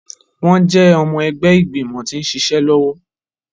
Wọn jẹ ọmọ ẹgbẹ igbimọ ti nṣiṣe lọwọ